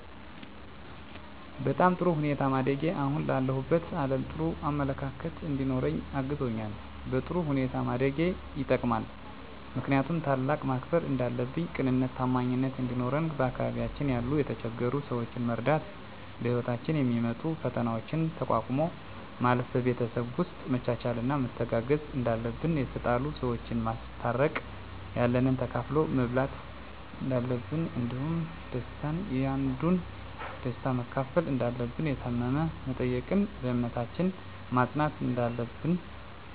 በጣም በጥሩ ሁኔታ ማደጌ አሁን ላለሁበት አለም ጥሩ አመለካከት እንዲኖረኝ አግዞኛል በጥሩ ሁኔታ ማደግ የጠቅማል ምክንያቱም ታላቅን ማክበር እንዳለብን ቅንነትና ታማኝነት እንዲኖረን በአካባቢያችን ያሉ የተቸገሩ ሰዎችን መርዳት በህይወታችን የሚመጡ ፈተናዎችን ተቋቁሞ ማለፍ ን በቤተሰብ ውስጥ መቻቻልና መተጋገዝ እንዳለብን የተጣሉ ሰዎችን ማስታረቅ ያለንን ተካፍሎ መብላት እንዳለብን እንዲሁም ደስታን ያንዱን ደስታ መካፈል እንዳለብን የታመመ መጠየቅን በእምነታችን መፅናት እንዳለብን